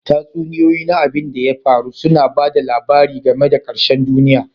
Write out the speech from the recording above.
Tatsuniyoyi na abin da ya faru suna ba da labari game da ƙarshen duniya.